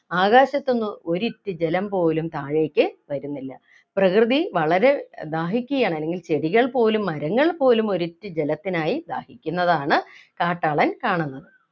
ആകാശത്തു നിന്ന് ഒരിറ്റു ജലം പോലും താഴേക്ക് വരുന്നില്ല പ്രകൃതി വളരെ ദാഹിക്കുകയാണ് അല്ലെങ്കിൽ ചെടികൾ പോലും മരങ്ങൾ പോലും ഒരിറ്റു ജലത്തിനായി ദാഹിക്കുന്നതാണ് കാട്ടാളൻ കാണുന്നത്